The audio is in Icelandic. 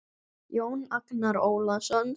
Jón Agnar Ólason